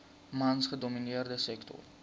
mans gedomineerde sektor